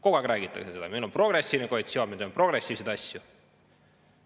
Kogu aeg räägitakse sellest, et meil on progressiivne koalitsioon, kes teeb progressiivseid asju.